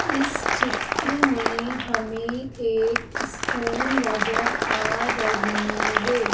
इस चित्र में हमें एक स्कूल नजर आ रही हे ।